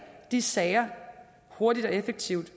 de sager hurtigt og effektivt